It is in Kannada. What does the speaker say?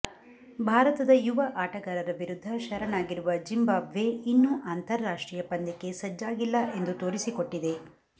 ಭಾರತದ ಯುವ ಆಟಗಾರರ ವಿರುದ್ಧ ಶರಣಾಗಿರುವ ಝಿಂಬಾಬ್ವೆ ಇನ್ನೂ ಅಂತಾರಾಷ್ಟ್ರೀಯ ಪಂದ್ಯಕ್ಕೆ ಸಜ್ಜಾಗಿಲ್ಲ ಎಂದು ತೋರಿಸಿಕೊಟ್ಟಿದೆ